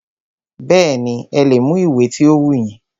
Bẹ́ẹ̀nì, ẹ lè mú ìwé ti o wù yín.